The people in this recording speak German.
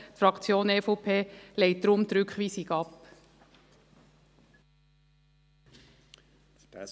Die Fraktion EVP lehnt die Rückweisung deshalb ab.